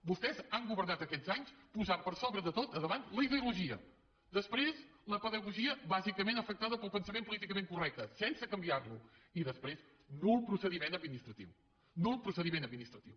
vostès han governat aquests anys posant per sobre de tot a davant la ideologia després la pedagogia bàsicament afectada pel pensament políticament correcte sense canviar lo i després nul procediment administratiu nul procediment administratiu